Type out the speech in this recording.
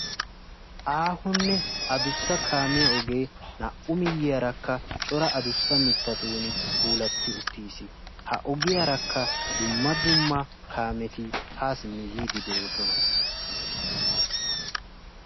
Aahonne adussa kaamiya ogee naa"u miyyiyaarakka cora adussa mittatun puulatti uttiis. ha ogiyaarakka dumma dumma kaameti haa simmi yiidi de'oosona.